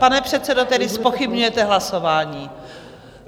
Pane předsedo, tedy zpochybňujete hlasování?